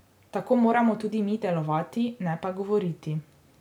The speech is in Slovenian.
Tako moramo tudi mi delovati, ne pa govoriti.